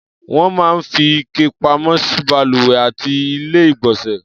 Wọ́n máa ń fi ike pamọ́ sí balùwẹ̀ àti Ilé-ìgbọ̀nsẹ̀.